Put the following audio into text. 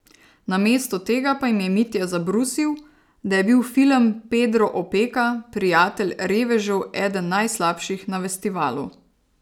Namesto tega pa jim je Mitja zabrusil, da je bil film Pedro Opeka, prijatelj revežev eden najslabših na festivalu.